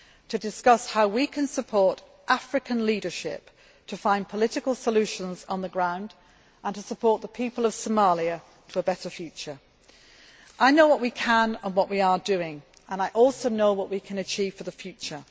to discuss how we can support African leadership to find political solutions on the ground, and how we can support the people of Somalia to a better future. I know what we can do and what we are doing and I also know what we can achieve for the future.